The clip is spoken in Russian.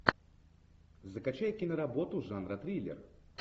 закачай киноработу жанра триллер